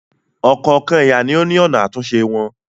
Ọ̀kọ̀ọ̀kan ẹ̀yà ló ní ọ̀nà àtúnṣe wọn.